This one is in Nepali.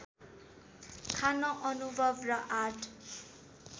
खान अनुभव र आँट